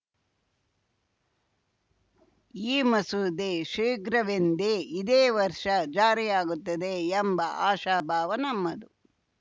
ಈ ಮಸೂದೆ ಶೀಘ್ರವೆಂದೆ ಇದೇ ವರ್ಷ ಜಾರಿಯಾಗುತ್ತದೆ ಎಂಬ ಆಶಾಭಾವ ನಮ್ಮದು